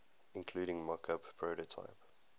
including mockup prototype